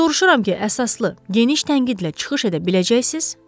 "Soruşuram ki, əsaslı, geniş tənqidlə çıxış edə biləcəksiz?"